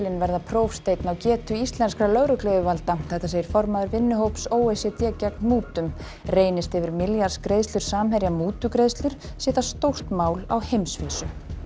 verða prófsteinn á getu íslenskra lögregluyfirvalda segir formaður vinnuhóps o e c d gegn mútum reynist yfir milljarðs greiðslur Samherja mútugreiðslur sé það stórt mál á heimsvísu